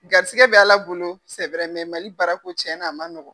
Garisɛgɛ bɛ ala bolo mɛ Mali barako cɛnna a ma nɔgɔn.